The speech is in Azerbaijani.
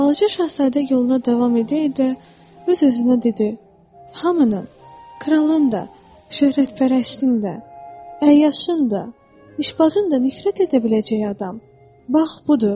Balaca şahzadə yoluna davam edə-edə öz-özünə dedi: Hamının, kralın da, şöhrətpərəstin də, əyyaşın da, işbazın da nifrət edə biləcəyi adam, bax budur.